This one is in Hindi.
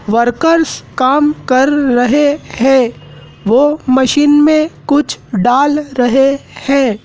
वर्कर्स काम कर रहे हैं वो मशीन में कुछ डाल रहे हैं।